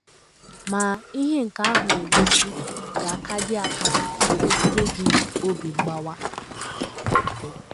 Ma, ihe nke ahụ na - egosi ga - akadị - akadị ebutere gị obi mgbawa.